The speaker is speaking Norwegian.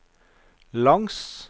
langs